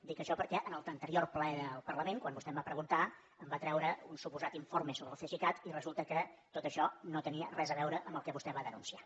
dic això perquè en l’anterior ple del parlament quan vostè em va preguntar em va treure un suposat informe sobre el cesicat i resulta que tot això no tenia res a veure amb el que vostè va denunciar